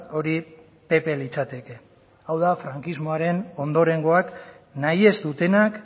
hori pp litzateke haur da frankismoaren ondorengoak nahi ez dutenak